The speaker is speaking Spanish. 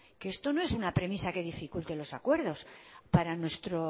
que esto no es una premisa que dificulte los acuerdos para nuestro